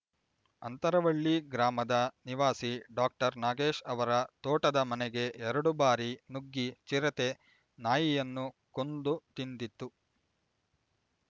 ಅಂತರವಳ್ಳಿ ಗ್ರಾಮದ ನಿವಾಸಿ ಡಾಕ್ಟರ್ ನಾಗೇಶ್ ಅವರ ತೋಟದ ಮನೆಗೆ ಎರಡು ಬಾರಿ ನುಗ್ಗಿ ಚಿರತೆ ನಾಯಿಯನ್ನು ಕೊಂದು ತಿಂದಿತ್ತು